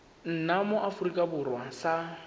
nna mo aforika borwa sa